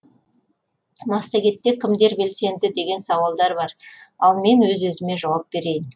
массагетте кімдер белсенді деген сауалдар бар ал мен өз өзіме жауап берейін